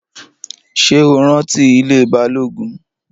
Ṣé o rántí ilée Balógun?